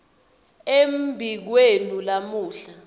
embi kwenu lamuhla